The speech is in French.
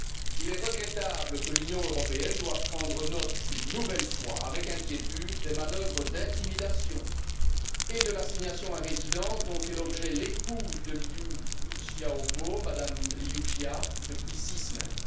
Il est regrettable que l'Union européenne doive prendre note, une nouvelle fois, avec inquiétude, des manœuvres d'intimidation et de l'assignation à résidence dont fait l'objet l'épouse de Liu Xiaobo, Mme Liu Xia, depuis six semaines.